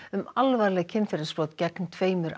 um alvarleg kynferðisbrot gegn tveimur